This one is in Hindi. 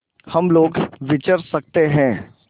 हम लोग विचर सकते हैं